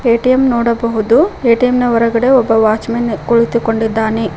ATM ನೋಡಬಹುದು ATM ನ ಹೊರಗಡೆ ಒಬ್ಬ ವಾಚಮನ್ ಕುಳಿತು ಕೊಂಡಿದ್ದಾನೆ.